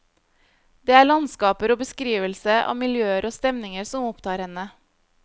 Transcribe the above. Det er landskaper og beskrivelse av miljøer og stemninger som opptar henne.